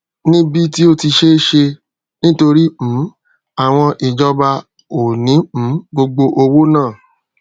níbí tí ó ti ṣé e ṣe nítorí um àwọn ìjọba ò ní um gbogbo owó náà